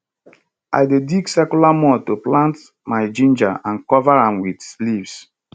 i dey dig circular mound to plant my ginger and cover am with leaves